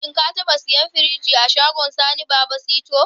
Shin ka taɓa siyan firinji a shagon Sani Baba sito?